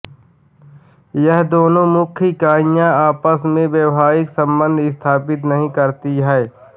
यह दोनों मुख्य इकाईयां आपस में वैवाहिक संबंध् स्थापित नहीं करती हैं